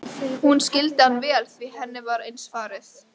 Hún skildi hann vel því henni var eins farið.